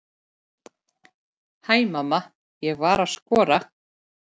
Hæ mamma, ég var að skora!